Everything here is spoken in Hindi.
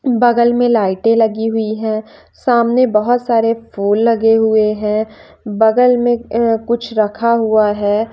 बगल में लाइटें लगी हुई हैं सामने बहुत सारे फूल लगे हुए हैं बगल में अह कुछ रखा हुआ है।